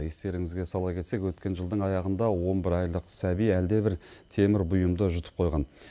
естеріңізге сала кетсек өткен жылдың аяғында он бір айлық сәби әлдебір темір бұйымды жұтып қойған